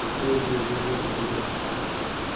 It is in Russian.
приходится убеждать робота